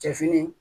Cɛ fini